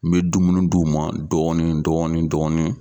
N be dumuni d'u ma dɔɔni dɔɔni dɔɔni